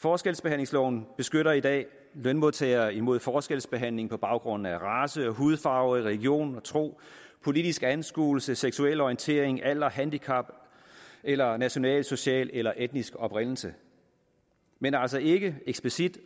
forskelsbehandlingsloven beskytter i dag lønmodtagere imod forskelsbehandling på baggrund af race hudfarve religion og tro politisk anskuelse seksuel orientering alder handicap eller national social eller etnisk oprindelse men altså ikke eksplicit